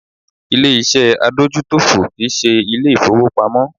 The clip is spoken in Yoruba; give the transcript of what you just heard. Ilé ìṣẹ́ adójútòfò kì í ṣe Ilé ìfowópamọ́